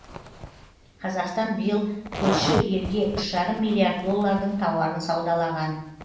қазақстан биыл көрші елге үш жарым миллиард доллардың тауарын саудалаған